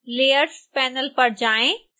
layers panel पर जाएँ